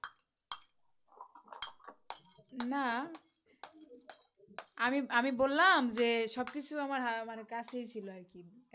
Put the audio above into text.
না আমি আমি বললাম যে সব কিছু আমার হা মানে কাছে ই ছিল আর কি একদম